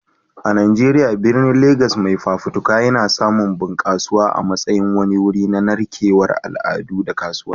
A Najeriya, birnin Legas mai fafutuka yana samun bunƙasuwa a matsayin wani wuri na narkewar al'adu da kasuwanci.